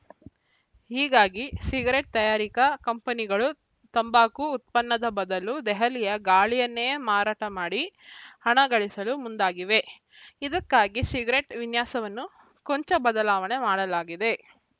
ಹೀಗಾಗಿ ಸಿಗರೆಟ್‌ ತಯಾರಿಕಾ ಕಂಪನಿಗಳು ತಂಬಾಕು ಉತ್ಪನ್ನದ ಬದಲು ದೆಹಲಿಯ ಗಾಳಿಯನ್ನೇ ಮಾರಾಟ ಮಾಡಿ ಹಣ ಗಳಿಸಲು ಮುಂದಾಗಿವೆ ಇದಕ್ಕಾಗಿ ಸಿಗರೆಟ್‌ ವಿನ್ಯಾಸವನ್ನು ಕೊಂಚ ಬದಲಾವಣೆ ಮಾಡಲಾಗಿದೆ